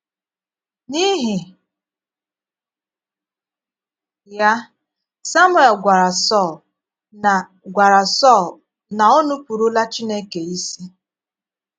N’íhì ya, Samuel gwara Sọl na gwara Sọl na o nùpụrụ̀lá Chineke ísì.